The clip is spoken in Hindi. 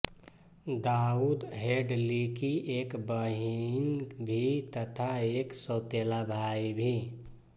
दाऊद हेडलीकी एक बहिन भी तथा एक सौतेला भाई भी